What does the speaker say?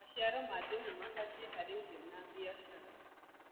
maciaro ma njugu mabatie harĩ irio na biashara